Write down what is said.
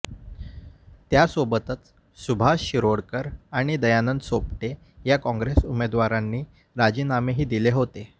त्यासोबतच सुभाष शिरोडकर आणि दयानंद सोपटे या काँग्रेस आमदारांनी राजीनामेही दिले होते